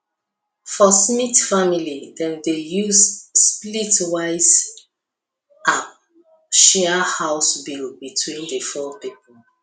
for smith family dem dey use splitwise app share house bill between the four people